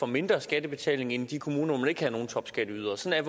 mindre skattebetaling end de kommuner hvor man ikke har nogen topskatteydere sådan